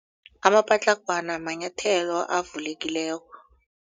Amapatlagwana manyathelo avulekileko.